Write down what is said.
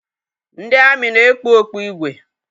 Ndị amị na-ekpu okpu igwe